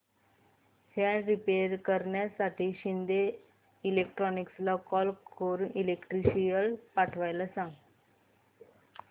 fan repair करण्यासाठी शिंदे इलेक्ट्रॉनिक्सला call करून इलेक्ट्रिशियन पाठवायला सांग